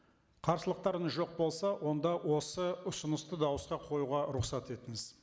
қарсылықтарыңыз жоқ болса онда осы ұсынысты дауысқа қоюға рұқсат етіңіз